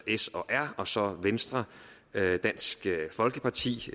s og r og så venstre dansk folkeparti